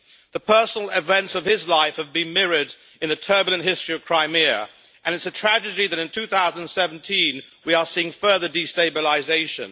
The personal events of his life have been mirrored in the turbulent history of Crimea, and it is a tragedy that in 2017 we are seeing further destabilisation.